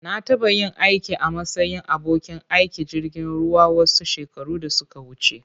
Na taɓa yin aiki a matsayin abokin aikin jirgin ruwa wasu shekaru da suka wuce.